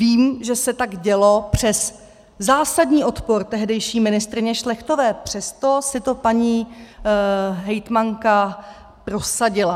Vím, že se tak dělo přes zásadní odpor tehdejší ministryně Šlechtové, přesto si to paní hejtmanka prosadila.